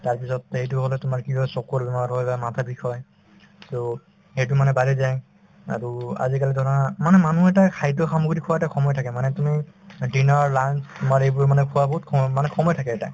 তাৰপিছত এইটো হলে তোমাৰ কি হয় চকুৰ বেমাৰ হয় বা মাথাৰ বিষ হয় so সেইটো মানে বাঢ়ি যায় আৰু আজিকালি ধৰা মানে মানুহ এটাই খাদ্য সামগ্ৰী খোৱা এটা সময় থাকে মানে তুমি দিনৰ lunch তোমাৰ এইবোৰ মানে খোৱা বহুত সম মানে সময় থাকে এটা